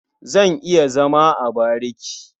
Zan iya zama a bariki.